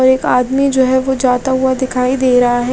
और एक आदमी जो है जो जाता हुआ दिखाई दे रहा है।